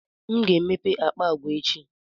M ga-emepe akpa agwa echi.